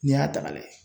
N'i y'a ta ka lajɛ